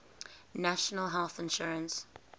national health insurance